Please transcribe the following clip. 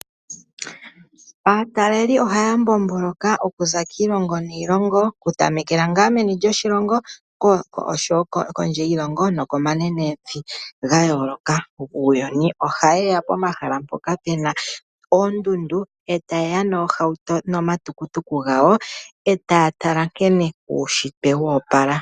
Aatalelipo ohaya mbomboloka okuza kiilongo niilongo. Okutamekela ngaa meni lyoshilongo oshowo kondje yiilongo nokomanenevi ga yooloka guuyuni. Ohaye ya pomahala mpoka pena oondundu eta yeya nomatukutuku gawo eta ya tala nkene uunshitwe wo opala.